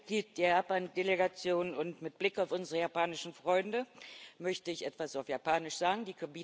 Als Mitglied der Japan Delegation und mit Blick auf unsere japanischen Freunde möchte ich etwas auf Japanisch sagen.